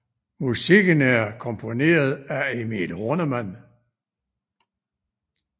Musikken er komponeret af Emil Horneman